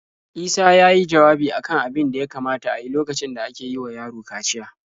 Isa ya yi jawabi a kan abin da ya kamata a yi lokacin da ake yi wa yaro kaciya.